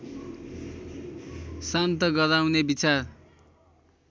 शान्त गराउने विचार